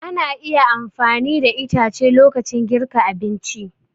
Ana iya amfani da itace lokacin girka abinci.